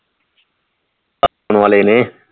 ਆਉਣ ਵਾਲੇ ਨੇ